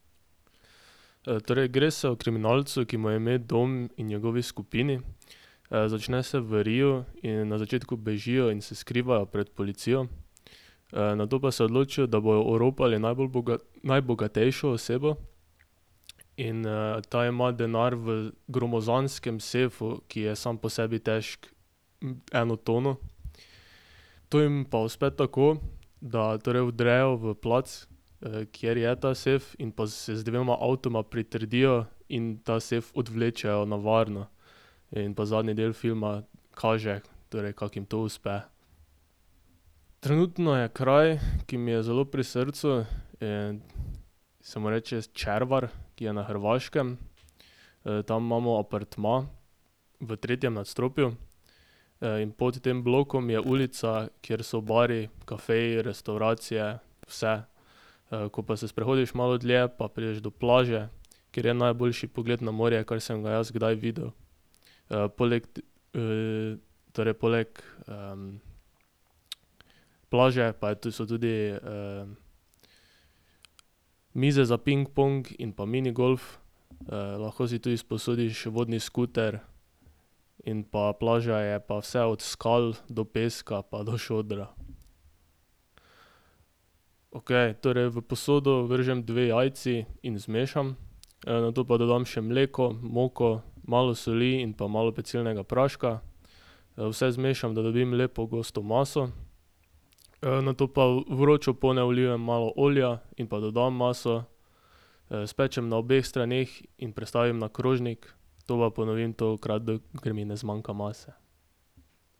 torej gre se o kriminalcu, ki mu je ime Don, in njegovi skupini. začne se v Riu in na začetku bežijo in se skrivajo pred policijo, nato pa se odločijo, da bojo oropali najbolj najbogatejšo osebo. In, ta ima denar v gromozanskem sefu, ki je sam po sebi težek eno tono. To jim pa uspe tako, da torej vdrejo v plac, kjer je ta sef, in pa se z dvema avtoma pritrdijo in ta sef odvlečejo na varno. In pa zadnji del filma kaže, torej kako jim to uspe. Trenutno je kraj, ki mi je zelo pri srcu, in se mu reče Červar, ki je na Hrvaškem. tam imamo apartma v tretjem nadstropju. in pod tem blokom je ulica, kjer so bari, kafeji, restavracije. Vse. ko pa se sprehodiš malo dlje, pa prideš do plaže, kjer je najboljši pogled na morje, kar sem ga jaz kdaj videl. poleg, torej, poleg, plaže pa je so tudi, mize za pingpong in pa minigolf. lahko si tudi sposodiš vodni skuter in pa plaža je pa vse od skal do peska, pa do šodra. Okej, torej v posodo vržem dve jajci in zmešam. nato pa dodam še mleko, moko, malo soli in pa malo pecilnega praška. vse zmešam, da dobim lepo gosto maso, nato pa v vročo ponev vlijem malo olja in pa dodam maso. spečem na obeh straneh in prestavim na krožnik. To pa ponovim tolikokrat, dokler mi ne zmanjka mase.